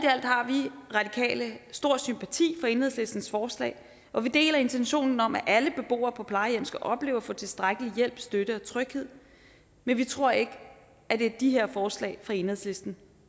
alt har vi radikale stor sympati for enhedslistens forslag og vi deler intentionen om at alle beboere på plejehjem skal opleve at få tilstrækkelig hjælp støtte og tryghed men vi tror ikke at det er de her forslag fra enhedslisten